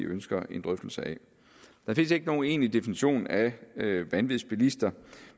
ønsker en drøftelse af der findes ikke nogen egentlig definition af vanvidsbilister